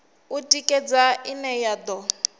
u tikedza ine ya do